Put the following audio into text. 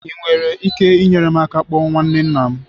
Ị nwere ike inyere m aka ịkpọ nwanne nna m?